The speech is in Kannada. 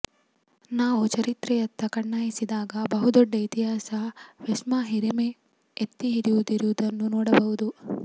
ನಾವು ಚರಿತ್ರೆಯತ್ತ ಕಣ್ಣಾಯಿಸಿದಾಗ ಬಹುದೊಡ್ಡ ಇತಿಹಾಸ ವೆಸ್ಪಾ ಹಿರಿಮೆ ಎತ್ತಿ ಹಿಡಿಯುತ್ತಿರುವುದನ್ನು ನೋಡಬಹುದು